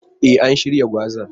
E, an shirya gwazan.